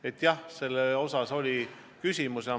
Aga jah, sel teemal küsimus oli.